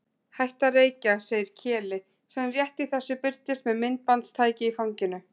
Hætta að reykja, segir Keli sem rétt í þessu birtist með myndbandstæki í fanginu.